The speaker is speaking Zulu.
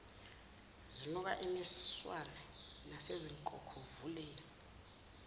zinuka imiswane nasezinkokhovuleni